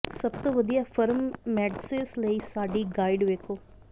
ਸਭ ਤੋਂ ਵਧੀਆ ਫਰਮ ਮੈਡਸੇਸ ਲਈ ਸਾਡੀ ਗਾਈਡ ਵੇਖੋ